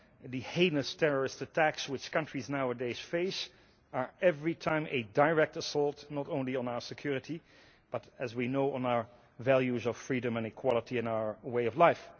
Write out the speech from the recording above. The heinous terrorist attacks which countries nowadays face are every time a direct assault not only on our security but, as we know, on our values of freedom and equality and our way of life.